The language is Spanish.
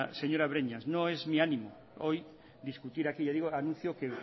señora breñas no es mi ánimo hoy discutir ya digo que anuncio que